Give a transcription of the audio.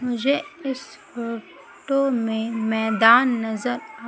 मुझे इस फोटो में मैदान नजर आ--